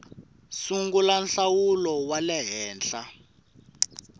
sungula nhlawulo wa le henhla